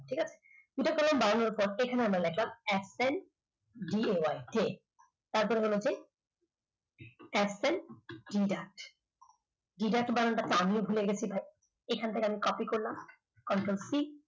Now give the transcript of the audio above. একটাই vy তারপর হলো গিয়ে absent এইখান থেকে আমিও ভুলে গেছি ভাই আমি copy করলাম control c